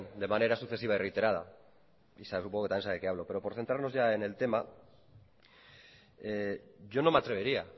de manera sucesiva y reiterada y supongo que también sabe de qué hablo pero por centrarnos ya en el tema yo no me atrevería